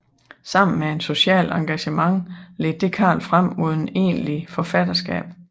Sammen med et socialt engagement ledte det Carl frem mod et egentligt forfatterskab